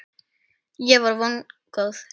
Ég er vongóð.